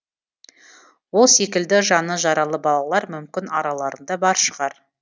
ол секілді жаны жаралы балалар мүмкін араларында бар шығар